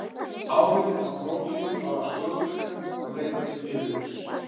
Áhrifin á prótein varða stöðugleika og leiða til niðurrifs.